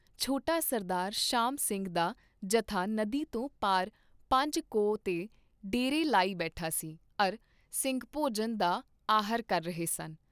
ਸਰਦਾਰ ਸ਼ਾਮ ਸਿੰਘ ਦਾ ਜਥਾ ਨਦੀ ਤੋਂ ਪਾਰ ਪੰਜ ਕੋਹ ਤੇ ਡੇਰੇ ਲਾਈ ਬੈਠਾ ਸੀ ਅਰ ਸਿੰਘ ਭੋਜਨ ਦਾ ਆਹਰ ਕਰ ਰਹੇ ਸਨ।